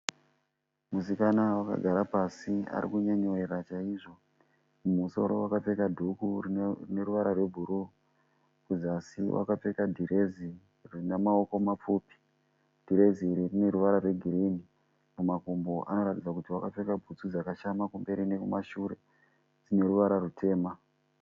Musikana wakagara pasi arikunyemwerera chaizvo. Mumusoro akapfeka dhuku rine ruvara rwe bhuru kuzasi akapfeka direzi rinemawokomapfupi direzi iri rineruvara rwegirini .Kumakumbo anoratidza kuti wakapfeka butsu dzakashama kumberi nekumashure dzineruvara rutema.